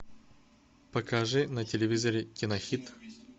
покажи на телевизоре кинохит